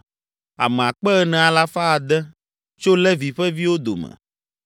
ame akpe ene alafa ade (4,600) tso Levi ƒe viwo dome.